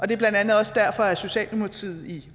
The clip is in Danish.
det er blandt andet også derfor at socialdemokratiet i